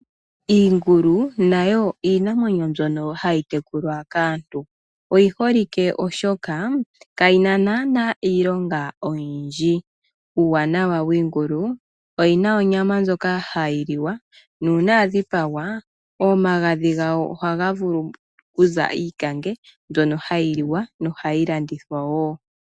Iingulu nayo iinamwenyo mbyono hayi tekulwa kaantu. Oyiholike oshoka kayina naana iilonga oyindji. Uuwanawa wiingulu oyina onyama ndjoka hayi liwa nuuna yadhipagwa omagadhi gayo ohaga vulu okuza iikange mbyono hayi liwa na ohayi landithwa wo.